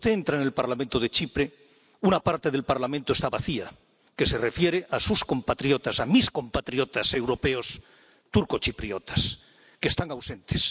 Cuando usted entra en el Parlamento de Chipre, una parte del Parlamento está vacía, es la de sus compatriotas —mis compatriotas europeos turcochipriotas—, que están ausentes.